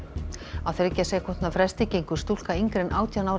á þriggja sekúndna fresti gengur stúlka yngri en átján ára í